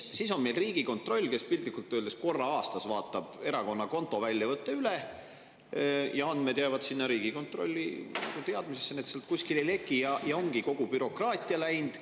Siis on meil Riigikontroll, kes piltlikult öeldes korra aastas vaatab erakonna konto väljavõtte üle, andmed jäävad sinna Riigikontrolli teadmisesse, need sealt kuskile ei leki, ja ongi kogu bürokraatia läinud.